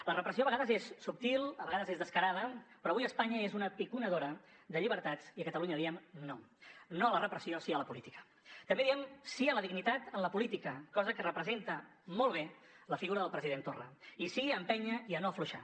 la repressió a vegades és subtil a vegades és descarada però avui espanya és una piconadora de llibertats i a catalunya diem no no a la repressió sí a la política també diem sí a la dignitat en la política cosa que representa molt bé la figura del president torra i sí a empènyer i a no afluixar